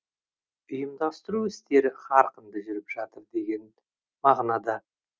ұйымдастыру істері қарқынды жүріп жатыр деген мағынада